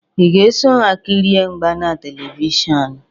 Ị ga-eso ha kirie mgba na Televishọnụ?